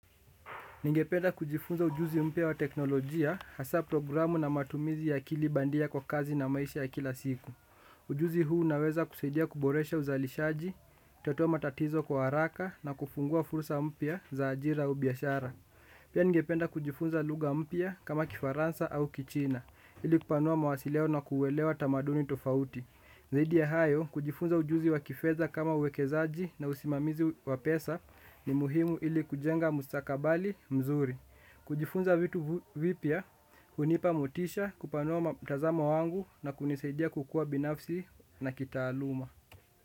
Ningependa kujifunza ujuzi mpya wa teknolojia, hasa programu na matumizi ya akili bandia kwa kazi na maisha ya kila siku. Ujuzi huu unaweza kusaidia kuboresha uzalishaji, kutatuwa matatizo kwa haraka na kufungua fursa mpya za ajira au biashara. Pia ningependa kujifunza lugha mpya kama kifaransa au kichina, ili kupanua mawasiliano na kuwelewa tamaduni tofauti. Zaidi ya hayo, kujifunza ujuzi wa kifedha kama uwekezaji na usimamizi wa pesa ni muhimu ili kujenga mustakabali mzuri. Kujifunza vitu vipya, hunipa motisha, kupanua mtazamo wangu na kunisaidia kukua binafsi na kitaaluma.